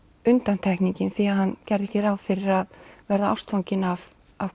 undantekningin því hann gerði ekki ráð fyrir að verða ástfanginn af